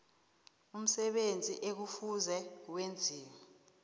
umsebenzi ekufuze wenziwe